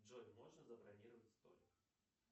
джой можно забронировать столик